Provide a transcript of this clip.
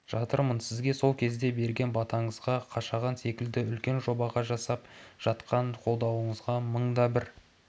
жатырмын сізге сол кезде берген батаңызға қашаған секілді үлкен жобаға жасап жатқан қолдауыңызға мыңда бір